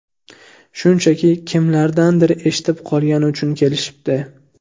Shunchaki, kimlardandir eshitib qolgani uchun kelishibdi.